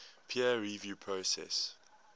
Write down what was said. peer review process